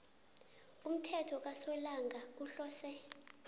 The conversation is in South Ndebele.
umthelo kasolanga uhlose